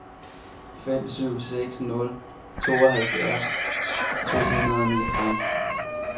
fem syv seks nul tooghalvfjerds to hundrede og niogtres